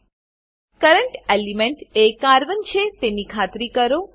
current element current element એ carbon carbon છે તેની ખાતરી કરો